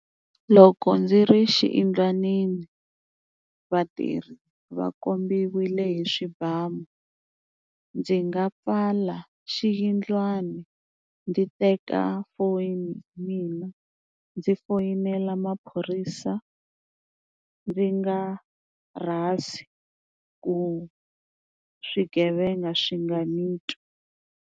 Loko ndzi ri xiyindlwanini vatirhi va kombiwile hi swibamu ndzi nga pfala xiyindlwana ndzi teka foni ya mina ndzi foyinela maphorisa ndzi nga rhasi ku swigevenga swi nga ni twi.